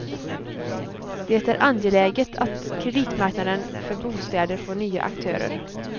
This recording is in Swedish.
Det är angeläget att kreditmarknaden för bostäder får nya aktörer.